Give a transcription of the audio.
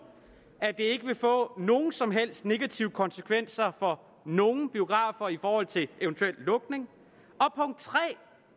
at det ikke vil få nogen som helst negative konsekvenser for nogen biografer i forhold til en eventuel lukning